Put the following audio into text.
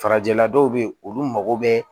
Farajɛla dɔw be yen olu mago be